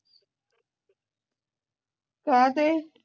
ਕਾਤੇ